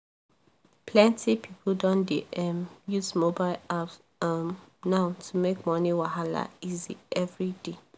plenty people don dey um use mobile apps um now to make money wahala easy every day.